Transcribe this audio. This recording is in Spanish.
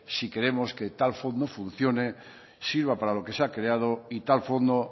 si queremos que tal fondo funcione sirva para lo que se ha creado y tal fondo